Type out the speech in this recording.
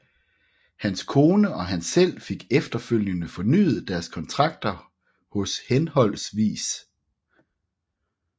Hans kone og han selv fik efterfølgende fornyet deres kontrakter hos hhv